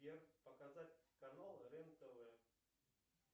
сбер показать канал рен тв